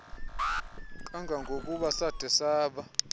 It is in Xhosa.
kangangokuba sade saba